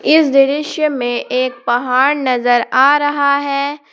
इस दृश्य में एक पहाड़ नजर आ रहा है।